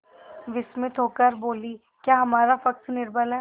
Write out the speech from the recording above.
विस्मित होकर बोलीक्या हमारा पक्ष निर्बल है